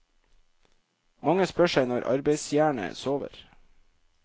Mange spør seg når arbeidsjernet sover.